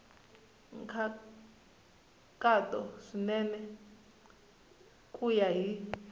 nkhaqato swinene ku ya hi